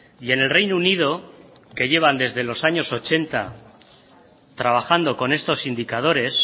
y en el reino unido que llevan desde los años ochenta trabajando con estos indicadores